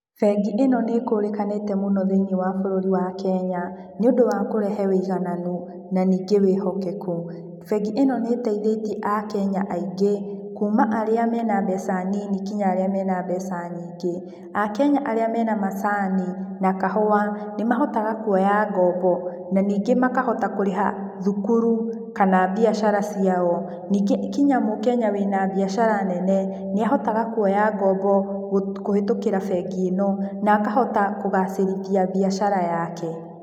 Bengi ĩno nĩ ĩkũrĩkanĩte mũno thĩiniĩ wa bũrũri wa Kenya, nĩũndũ wa kũrehe ũigananu, na ningĩ wĩhokeku. Bengi ĩno nĩ ĩteithĩtie akenya aingĩ, kuma arĩa mena mbeca nini nginya arĩa mena mbeca nyingĩ. Akenya arĩa mena macani na kahũa nĩ mahotaga kuoya ngombo, na ningĩ makahota kũrĩha thukuru kana biacara ciao. Ningĩ nginya mũkenya wĩna biacara nene, nĩahotaga kuoya ngombo, kũhitũkĩra bengi ĩno, na akahota kũgacĩrithia mbiacara yake.